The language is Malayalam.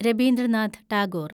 രബീന്ദ്രനാഥ് ടാഗോർ